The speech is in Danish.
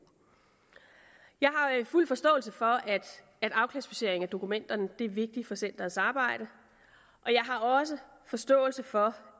jeg har fuld forståelse for at afklassificering af dokumenterne er vigtigt for centerets arbejde og jeg har også forståelse for